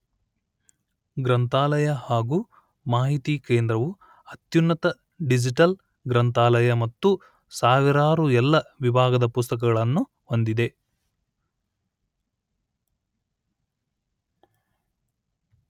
ಗ್ರಂಥಾಲಯ ಹಾಗೂ ಮಾಹಿತಿ ಕೇಂದ್ರವು ಅತ್ಯುನ್ನತ ಡಿಜಿಟಲ್ ಗ್ರಂಥಾಲಯ ಮತ್ತು ಸಾವಿರಾರು ಎಲ್ಲ ವಿಭಾಗದ ಪುಸ್ತಕಗಳನ್ನು ಹೊಂದಿದೆ